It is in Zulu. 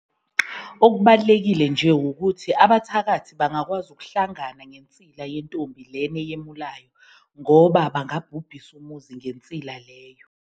Okubalulekile nje wukuthi abathakathi bangakwazi ukuhlangana nensila yentombi lena eyemulayo ngoba bangabhubhisa umuzi ngensila leyo.